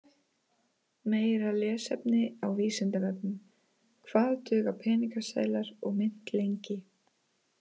Meira lesefni á Vísindavefnum Hvað duga peningaseðlar og mynt lengi?